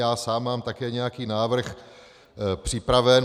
Já sám mám také nějaký návrh připraven.